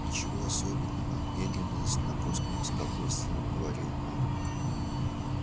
ничего особенного медленно с напускным спокойствием проговорил он